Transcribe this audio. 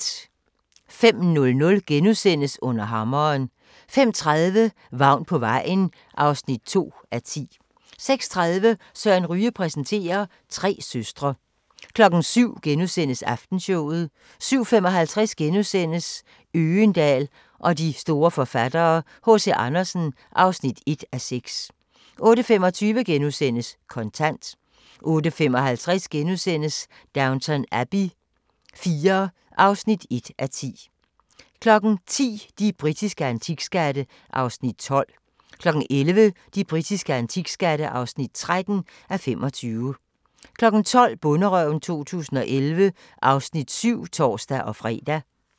05:00: Under hammeren * 05:30: Vagn på vejen (2:10) 06:30: Søren Ryge præsenterer: Tre søstre 07:00: Aftenshowet * 07:55: Øgendahl og de store forfattere: H.C. Andersen (1:6)* 08:25: Kontant * 08:55: Downton Abbey IV (1:10)* 10:00: De britiske antikskatte (12:25) 11:00: De britiske antikskatte (13:25) 12:00: Bonderøven 2011 (Afs. 7)(tor-fre)